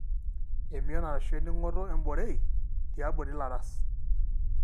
emion ashu eningoto emborei teabori ilaras.